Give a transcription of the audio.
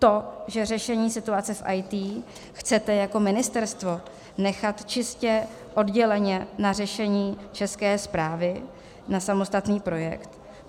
To, že řešení situace v IT chcete jako ministerstvo nechat čistě odděleně na řešení České správy, na samostatný projekt?